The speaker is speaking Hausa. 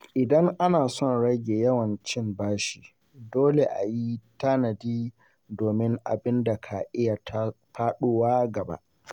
Idan ana son rage yawan cin bashi, dole a yi tanadi domin abin ka iya faɗowa gagab.